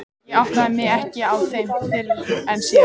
Ég áttaði mig ekki á þeim fyrr en síðar.